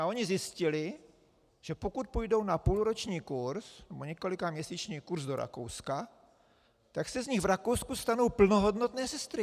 A ony zjistily, že pokud půjdou na půlroční kurz nebo několikaměsíční kurz do Rakouska, tak se z nich v Rakousku stanou plnohodnotné sestry.